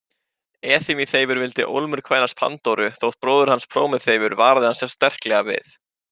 Epimeþeifur vildi ólmur kvænast Pandóru þótt bróðir hans Prómeþeifur varaði hann sterklega við.